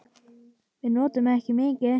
Við notum ekki mikið.